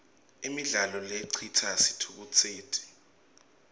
imidlalo lecitsa sitfukutseti